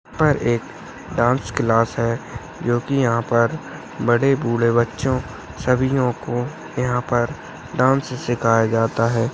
यहाँ पर एक डांस क्लास है जो कि यहाँ पर बड़े बुढे बच्चों सभी लोगों को यहाँ पर डांस सिखाया जाता है।